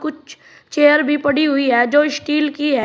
Chair भी पड़ी हुई है जो स्टील की है।